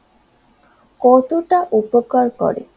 কতটা উপকার করে